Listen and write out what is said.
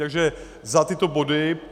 Takže za tyto body.